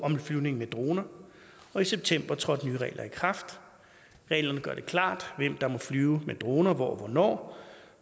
om flyvning med droner og i september trådte de nye regler i kraft reglerne gør det klart hvem der må flyve med droner hvor og hvornår